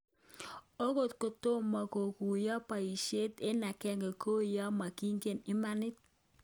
Okot kotomokoguyoke boishet eng agenge kou yemokyin'ge emoni."